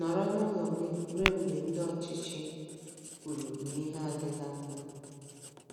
Nọrọ n’ụlọ gị ruo mgbe ndị ọchịchị kwuru na ihe adịla mma.